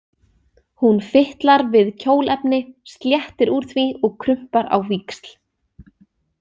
Hún fitlar við kjólefni, sléttir úr því og krumpar á víxl.